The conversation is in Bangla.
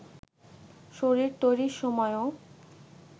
শরীর তৈরির সময়ও